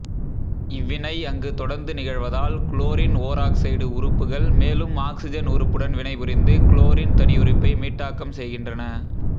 இவ்வினை அங்கு தொடர்ந்து நிகழ்வதால் குளோரின் ஓராக்சைடு உறுப்புகள் மேலும் ஆக்சிசன் உறுப்புடன் வினைபுரிந்து குளோரின் தனியுறுப்பை மீட்டாக்கம் செய்கின்றன